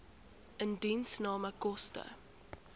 indiensname koste